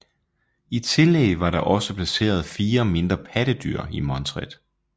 I tillæg var der også placeret fire mindre pattedyr i montret